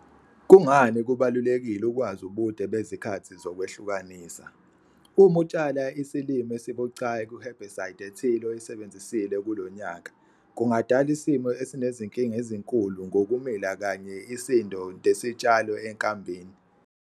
Kungani kubalulekile ukwazi ubude bezikhathi zokwehlukanisa? Uma utshala isilimo esibucayi ku-herbicide ethile oyisebenzisile kulo nyaka, kungadala isimo esinezinkinga ezinkulu ngokumila kanye isisndo desitshalo enkambini.